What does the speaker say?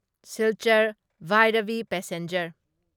Silchar Bairabi passenger